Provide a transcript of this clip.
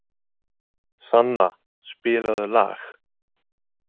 Sanna, spilaðu lag.